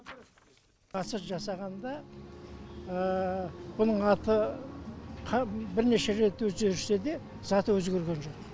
ғасыр жасағанда мұның аты бірнеше рет өзгерсе де заты өзгерген жоқ